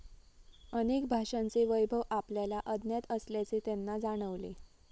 अनेक भाषांचे वैभव आपल्याला अज्ञात असल्याचे त्यांना जाणवले.